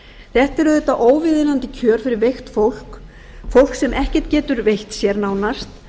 þetta eru auðvitað óviðunandi kjör fyrir veikt fólk fólk sem ekkert getur veitt sér nánast